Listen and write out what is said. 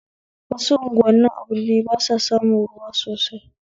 wasu unguwanin a birni basa samun ruwa sosai